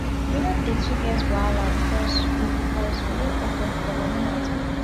we no dey too get wahala because we because we dey open for moni mata